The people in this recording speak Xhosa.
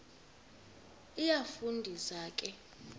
iyafu ndisa ke